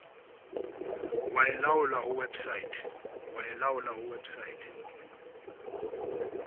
wa e laolla ho website